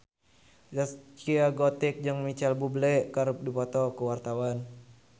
Zaskia Gotik jeung Micheal Bubble keur dipoto ku wartawan